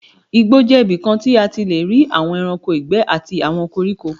Igbó jẹ́ ibikan tí a ti lé rí àwon ẹranko ìgbé àti àwọn koríko.